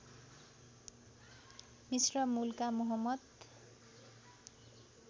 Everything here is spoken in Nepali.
मिस्र मूलका मोहम्मद